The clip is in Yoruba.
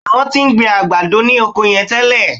Bẹ́ẹ̀ ni, wọ́n ti ń gbin àgbàdo ní oko yẹn tẹ́lẹ̀